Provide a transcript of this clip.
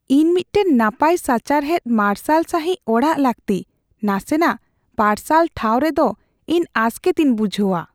"ᱤᱧ ᱢᱤᱫᱴᱟᱝ ᱱᱟᱯᱟᱭ ᱥᱟᱪᱟᱨᱦᱮᱫ ᱢᱟᱨᱥᱟᱞ ᱥᱟᱹᱦᱤᱡ ᱚᱲᱟᱜ ᱞᱟᱹᱠᱛᱤ; ᱱᱟᱥᱮᱱᱟᱜ ᱯᱟᱨᱥᱟᱞ ᱴᱷᱟᱣ ᱨᱮᱫᱚ ᱤᱧ ᱟᱥᱠᱮᱛᱤᱧ ᱵᱩᱡᱷᱟᱹᱣᱟ ᱾"